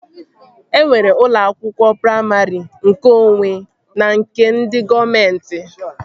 E nwere ụlọ akwụkwọ praimarị nkeonwe na nke ndị gọọmenti